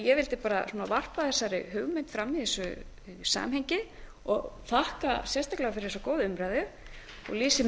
ég vildi bara varpa þessari hugmynd fram í þessu samhengi og þakka sérstaklega fyrir þessa góðu umræðu og lýsi